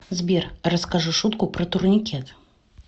сбер расскажи шутку про турникет